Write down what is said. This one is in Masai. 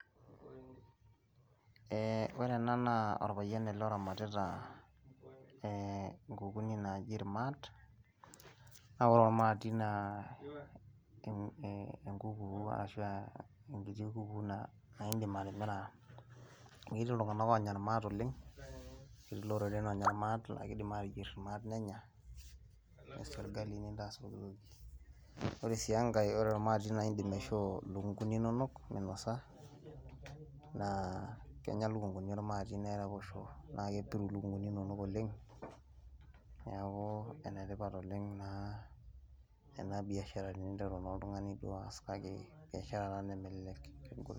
ee ore enaa naa orpayian ele oramatita nkukuni naaji irmaat. naa ore ormaati naa enkukuu, ashu enkiti kukuu naa idim atimira, amu etii iltunganak oonya irmaat oleng. etii iloreren oonya irmaat, naa kidim aateyier irmaat nenya. ore sii enkae ore ormaati naa idim aisoo ilukunkuni inonok minosa, na kenya ilukunkuni ormaati neraposho, nepiru lukunkuni inonok oleng. neeku enetipat oleng naa, ena biashara teninteru naa oltungani duo oas kake biashara taa nemelelek.